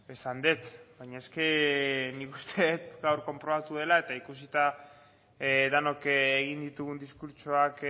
esan dut baina nik uste gaur konprobatu dela eta ikusita denok egin ditugun diskurtsoak